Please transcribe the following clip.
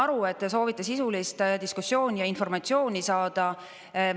Ma saan aru, et te soovite sisulist diskussiooni ja informatsiooni saada.